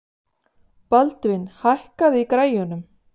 Baldvin, hækkaðu í græjunum.